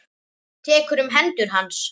Tekur um hendur hans.